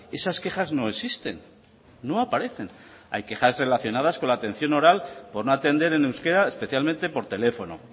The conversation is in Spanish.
esas quejas no existen no aparecen hay quejas relacionadas con la atención oral por no atender en euskera especialmente por teléfono